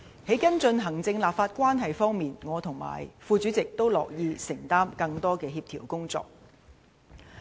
在跟進行政立法關係方面，我和副主席均樂意承擔更多的協調工作。